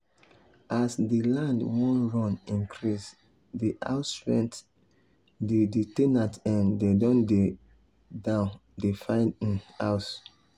as the land wan run increase the house rent the the ten ant um dem don dey down dey find um house